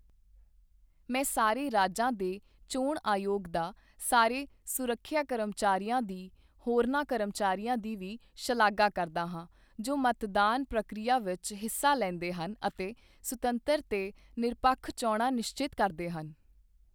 ਮੈਂ ਸਾਰੇ ਰਾਜਾਂ ਦੇ ਚੋਣ ਆਯੋਗ ਦਾ, ਸਾਰੇ ਸੁਰੱਖਿਆ ਕਰਮਚਾਰੀਆਂ ਦੀ, ਹੋਰਨਾਂ ਕਰਮਚਾਰੀਆਂ ਦੀ ਵੀ ਸ਼ਲਾਘਾ ਕਰਦਾ ਹਾਂ ਜੋ ਮਤਦਾਨ ਪ੍ਰਕਿਰਿਆ ਵਿੱਚ ਹਿੱਸਾ ਲੈਂਦੇ ਹਨ ਅਤੇ ਸੁਤੰਤਰ ਤੇ ਨਿਰਪੱਖ ਚੋਣਾਂ ਨਿਸ਼ਚਿਤ ਕਰਦੇ ਹਨ।